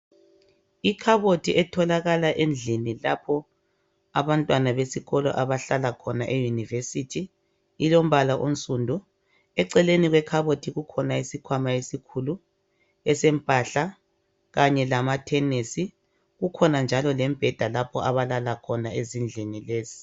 Ikhabothi etholakala endlini lapho abantwana besikolo abahlala khona eyunivesithi, ilombala onsundu. Eceleni kwekhabothi kukhona isikhwama esikhulu esempahla kanye lamathenesi kukhona njalo lembheda lapho abalala khona ezindlini lezi.